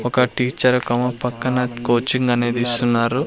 ఒక టీచర్ కమ పక్కన కోచింగ్ అనేది ఇస్తున్నారు.